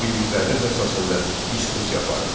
Bildikləriniz əsasında diskussiya aparın.